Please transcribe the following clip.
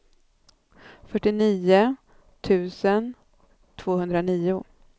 fyrtionio tusen tvåhundranio